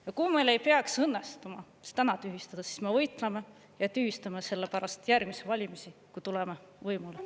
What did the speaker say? Ja kui meil ei peaks õnnestuma see täna tühistada, siis me võitleme ja tühistame selle pärast järgmisi valimisi, kui tuleme võimule.